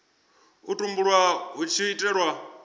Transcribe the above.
u tumbulwa hu tshi itelwa